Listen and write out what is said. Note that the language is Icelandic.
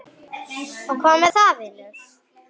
Og hvað með það, vinur?